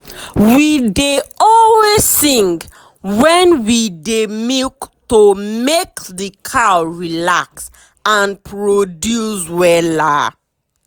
we dey always sing when we dey milk to make the cow relax and produce wella.